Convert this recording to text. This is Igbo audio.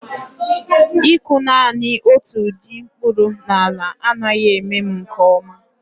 Ịkụ naanị otu ụdị mkpụrụ na ala anaghị eme m nke ọma